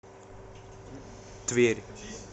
тверь